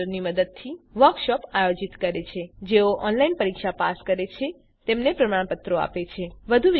spoken ટ્યુટોરીયલો ની મદદથી વર્કશોપોનું આયોજન કરે છે અને જેઓ ઓનલાઈન પરીક્ષા પાસ કરે છે તેમને પ્રમાણપત્રો આપે છે